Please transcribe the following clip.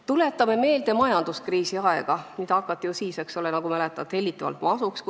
Tuletame meelde majanduskriisi aega, mida siis hakati, nagu mäletate, kutsuma hellitavalt masuks.